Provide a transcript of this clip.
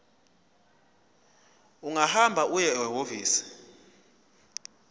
ungahamba uye ehhovisi